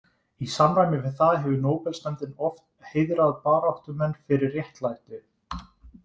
Í samræmi við það hefur nóbelsnefndin oft heiðrað baráttumenn fyrir réttlæti.